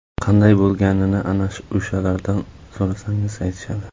Qanday bo‘lganini ana o‘shalardan so‘rasangiz aytishadi.